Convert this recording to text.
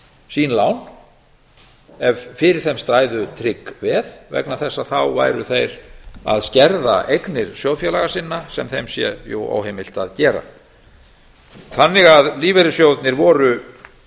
sín lán ef fyrir þeim stæðu trygg veð vegna þess að þá væru þeir að skerða eignir sjóðfélaga sinna sem þeim sé óheimilt að gera þannig að lífeyrissjóðirnir